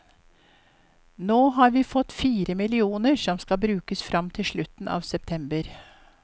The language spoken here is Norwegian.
Nå har vi fått fire millioner som skal brukes frem til slutten av september.